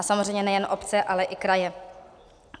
A samozřejmě nejen obce, ale i kraje.